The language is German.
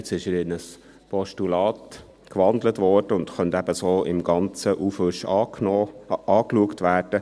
Jetzt wurde er in ein Postulat gewandelt und könnte so in einem Aufwasch angeschaut werden.